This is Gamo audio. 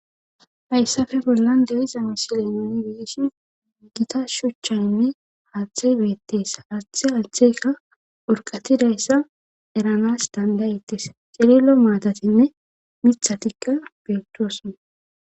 hayssafe bollan de7iza misile nuni beeshi gita shuchchaynne haaththay beettees haaththe haatheka urqatidayssa eranas tandayettes cililo maatatinne mithatikka beettoasona